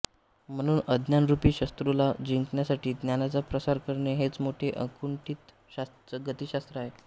म्हणून अज्ञानरूपी शत्रूला जिंकण्यासाठी ज्ञानाचा प्रसार करणे हेच मोठे अकुंठित गतिशात्र आहे